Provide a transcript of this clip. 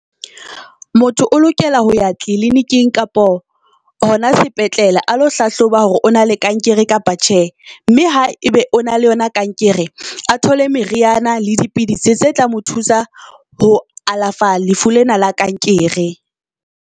Motho o lokela ho ya tleliniking kapa hona sepetlele a lo hlahloba hore o na le kankere kapa tjhe. Mme ha ebe o na le yona kankere a thole meriana le dipidisi tse tla mo thusa ho alafa lefu lena la kankere.